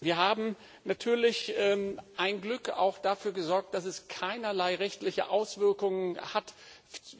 Wir haben natürlich ein Glück auch dafür gesorgt, dass es keinerlei rechtliche Auswirkungen hat